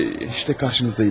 İşte qarşınızdayım.